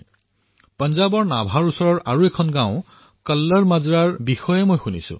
মই পাঞ্জাৱৰ আৰু এখন গাঁও কল্লৰ মাজৰাৰ বিষয়ে পঢ়িলো যি নাভাৰ কাষত অৱস্থিত